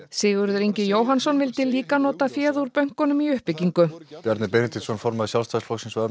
Sigurður Ingi Jóhannsson vildi líka nota fé úr bönkunum í uppbyggingu Bjarni Benediktsson formaður Sjálfstæðisflokksins